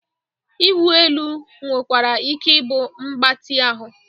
Ịwụ elu nwekwara ike ịbụ mgbatị ahụ